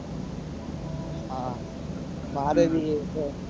હા મારે બી.